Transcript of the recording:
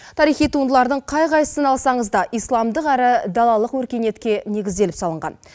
тарихи туындылардың қай қайсысын алсаңыз да исламдық әрі далалық өркениетке негізделіп салынған